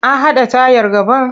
A haɗa tayar gaban?